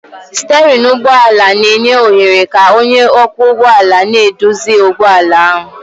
Stéérin ụgbọ ala na-enye ohere ka onye ọkwọ ụgbọala na-eduzi ụgbọ ala ahu